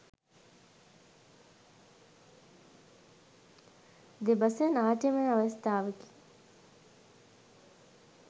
දෙබස නාට්‍යමය අවස්ථාවකි.